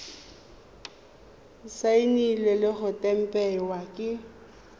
saenilwe le go tempiwa ke